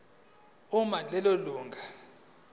uma lelo lunga